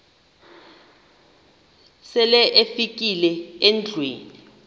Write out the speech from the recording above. sele ufikile endlwini